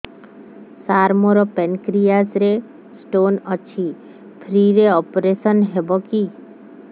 ସାର ମୋର ପାନକ୍ରିଆସ ରେ ସ୍ଟୋନ ଅଛି ଫ୍ରି ରେ ଅପେରସନ ହେବ କି